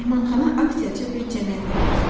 Mehmanxana aksiyacı bir cəmiyyətə məxsusdur.